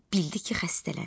Bildi ki, xəstələnib.